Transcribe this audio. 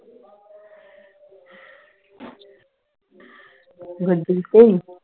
ਗੱਡੀ ਤੇ